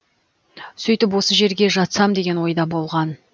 сөйтіп осы жерге жатсам деген ойда болған